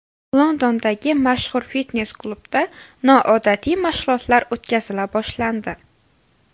Londondagi mashhur fitnes-klubda noodatiy mashg‘ulotlar o‘tkazila boshlandi.